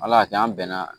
Ala y'a kɛ an bɛn na